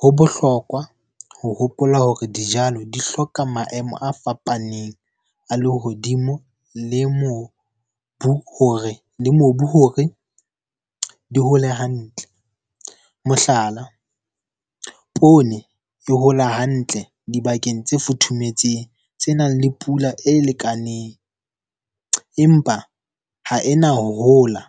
Ho bohlokwa ho hopola hore dijalo di hloka maemo a fapaneng a le hodimo le mobu hore di hole hantle. Mohlala, poone e hola hantle dibakeng tse futhumetseng tsenang le pula e lekaneng. Empa ha ena ho hola,